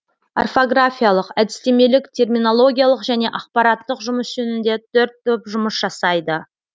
орфографиялық әдістемелік терминологиялық және ақпараттық жұмыс жөнінде төрт топ жұмыс жасайды